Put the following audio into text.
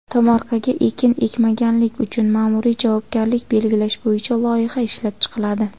Tomorqaga ekin ekmaganlik uchun maʼmuriy javobgarlik belgilash bo‘yicha loyiha ishlab chiqiladi.